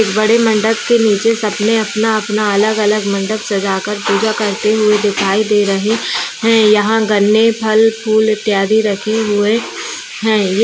बड़े मंडप के नीचे सबने अपना-अपना अलग-अलग मंडप सजा कर पूजा करते हुए दिखाई दे रहे है यहा गन्ने फल फूल इत्यादि रखे हुए है।